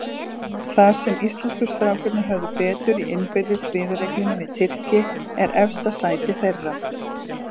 Þar sem íslensku strákarnir höfðu betur í innbyrðis viðureigninni við Tyrki, er efsta sætið þeirra.